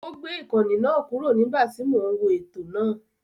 Ó gbé ìkànnì náà kúrò nígbà tí mò ń wo ètò náà.